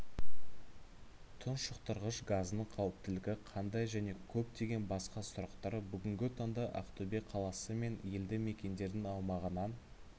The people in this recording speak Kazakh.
тұншықтырғыш газдың қауіптілігі қандай және көптеген басқа сұрақтар бүгінгі таңда ақтөбе қаласы мен елді мекендердің аумағынан